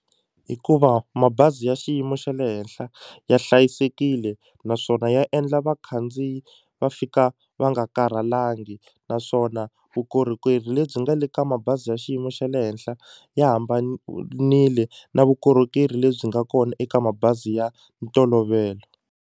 Hikuva mabazi ya xiyimo xa le henhla ya hlayisekile naswona ya endla vakhandziyi va fika va nga karhalangi naswona vukorhokeri lebyi nga le ka mabazi ya xiyimo xa le henhla ya hambanile na vukorhokeri lebyi nga kona eka mabazi ya ntolovelo.